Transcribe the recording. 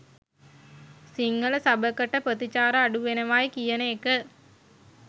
සිංහල සබකට ප්‍රතිචාර අඩුවෙනවයි කියන එක